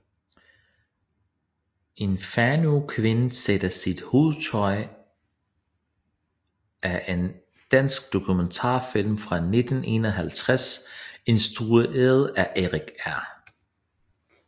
En fanøkvinde sætter sit hovedtøj er en dansk dokumentarfilm fra 1951 instrueret af Erik R